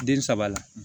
Den saba la